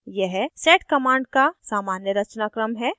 यह sed sed command का सामान्य रचनाक्रम है